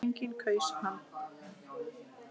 Enginn kaus hann.